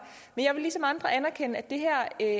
men jeg vil ligesom andre anerkende at det her er